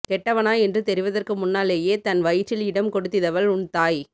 கெட்டவனா என்று தெரிவதற்கு முன்னாலேயே தன் வயிற்றில் இடம் கொடுதிதவள் உன் தாய்